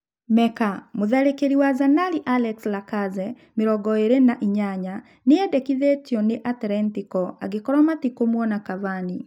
(Meka) Mũtharĩkĩri wa Zanari Alex Lakaze, mĩrongoĩrĩ nainyanya, nĩ endekithĩtio nĩ Atlentiko angĩkorwo metikũmwona Kavani.